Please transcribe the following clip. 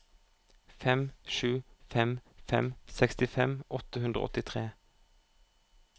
fem sju fem fem sekstifem åtte hundre og åttitre